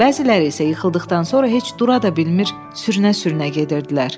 Bəziləri isə yıxıldıqdan sonra heç dura da bilmir, sürünə-sürünə gedirdilər.